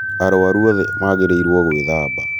arwaru othe magĩrĩirwo gwĩthamba